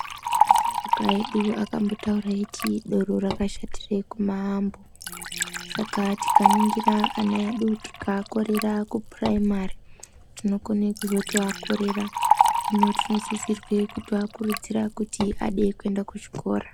Asharuka edu akambotaura eiti doro rakashatira kumambo. Saka tikaringira ana edu tikaakorera kupurayimari tinokone kuzotoakorera. Hino tinosise kuakurudzira kuti ade kuenda kuzvikora.